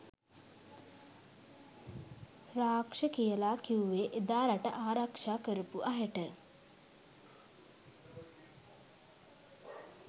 රාක්ෂ කියලා කිව්වේ එදා රට ආරක්ෂා කරපු අයට.